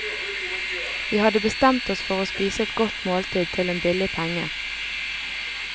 Vi hadde bestemt oss for å spise et godt måltid til en billig penge.